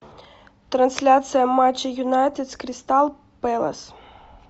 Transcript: трансляция матча юнайтед с кристал пэлас